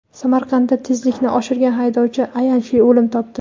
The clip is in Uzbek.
Samarqandda tezlikni oshirgan haydovchi ayanchli o‘lim topdi.